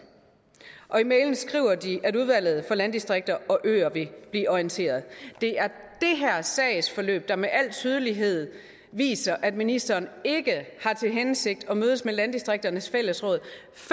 og i mailen skriver de at udvalget for landdistrikter og øer vil blive orienteret det er det her sagsforløb der med al tydelighed viser at ministeren ikke har til hensigt at mødes med landdistrikternes fællesråd